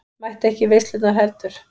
Mætti ekki í veislurnar heldur.